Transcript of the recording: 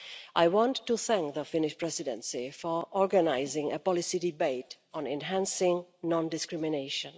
I want to thank the Finnish Presidency for organising a policy debate on enhancing non discrimination.